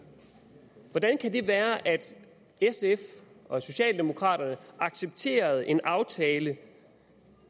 hvordan kan det være at sf og socialdemokraterne accepterede en aftale